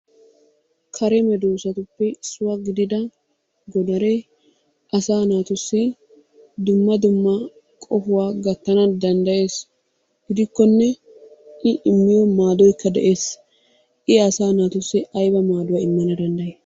Kare medoosatuppe issuwa gidida godaree asaa naatussi dumma dumma qohuwa gattanawu danddayees. Gidikkonne I immiyo maadoykka de'ees. I asaa naatussi ayba maaduwa immana danddayi?